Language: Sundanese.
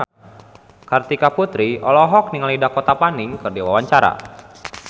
Kartika Putri olohok ningali Dakota Fanning keur diwawancara